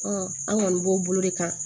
an kɔni b'o bolo de kan